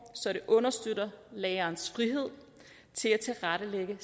så det understøtter lærerens frihed til at tilrettelægge